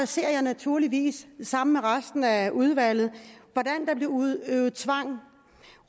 ser jeg naturligvis sammen med resten af udvalget hvordan der bliver udøvet tvang